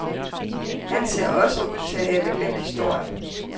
Han ser også ud til at have glemt historien.